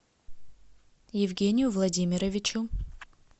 евгению владимировичу